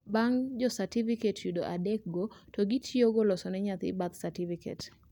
bang jo certificate yudo adikego to gitiyogo loso ne nyathi birth certificate